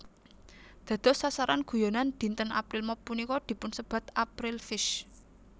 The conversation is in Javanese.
Dados sasaran guyonan dinten April Mop punika dipunsebat April Fish